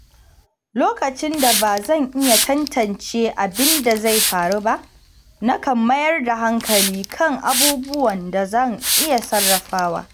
Lokacin da ba zan iya tantance abin da zai faru ba, nakan mayar da hankali kan abubuwan da zan iya sarrafawa.